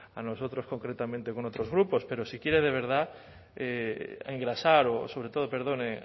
a nosotros concretamente con otros grupos pero si quiere de verdad engrasar o sobre todo perdón